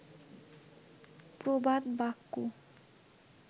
প্রবাদ বাক্য